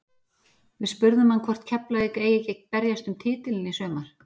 Við spurðum hann hvort Keflavík eigi ekki að berjast um titilinn í sumar?